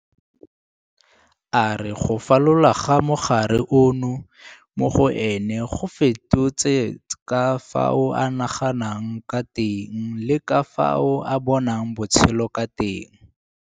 A re go fola ga mogare ono mo go ene go fetotse ka fao a naganang ka teng le ka fao a bonang botshelo ka teng.